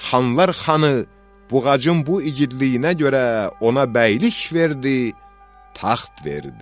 Xanlar xanı Buğacın bu igidliyinə görə ona bəylik verdi, taxt verdi.